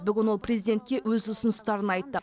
бүгін ол президентке өз ұсыныстарын айтты